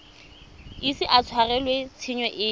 ise a tshwarelwe tshenyo epe